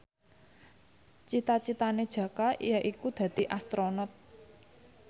cita citane Jaka yaiku dadi Astronot